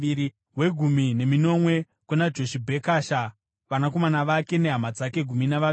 wegumi neminomwe kuna Joshibhekasha, vanakomana vake nehama dzake—gumi navaviri;